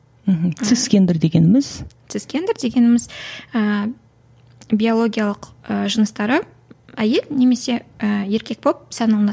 мхм цисгендер дегеніміз цисгендер дегеніміз ііі биологиялық ыыы жыныстары әйел немесе ы еркек болып саналынады